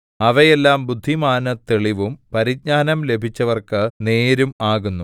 അവയെല്ലാം ബുദ്ധിമാന് തെളിവും പരിജ്ഞാനം ലഭിച്ചവർക്ക് നേരും ആകുന്നു